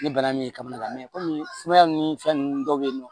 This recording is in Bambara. Ni bana min ye kaba minɛ sumaya ni fɛn ninnu dɔw bɛ yen nɔ